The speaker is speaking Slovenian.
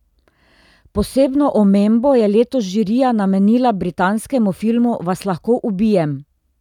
Posebno omembo je letos žirija namenila britanskemu filmu Vas lahko ubijem?